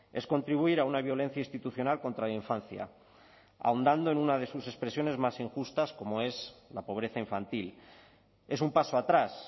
es contribuir a una violencia institucional contra la infancia ahondando en una de sus expresiones más injustas como es la pobreza infantil es un paso atrás